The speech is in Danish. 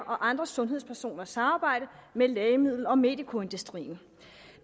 og andre sundhedspersoners samarbejde med lægemiddel og medicoindustrien